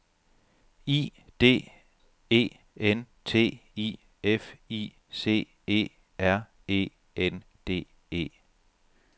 I D E N T I F I C E R E N D E